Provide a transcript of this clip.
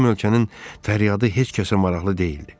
Bizim ölkənin fəryadı heç kəsə maraqlı deyildi.